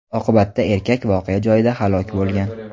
Oqibatda erkak voqea joyida halok bo‘lgan.